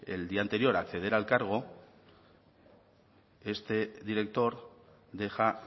el día anterior a acceder al cargo este director deja